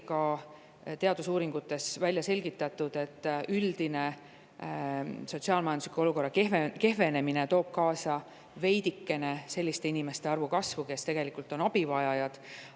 Ka teadusuuringutes on välja selgitatud, et üldise sotsiaal-majandusliku olukorra kehvenemine toob veidike kaasa selliste inimeste arvu kasvu, kes abi vajavad.